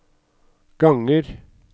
ganger